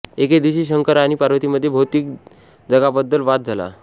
एके दिवशी शंकर आणि पार्वतीमध्ये भौतिक जगाबद्दल वाद झाला